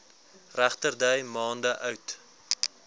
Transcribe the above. regterdy maande oud